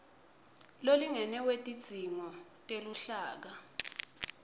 lolingene wetidzingo teluhlaka